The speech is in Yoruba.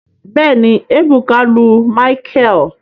Bẹẹni, ebuka lu micheal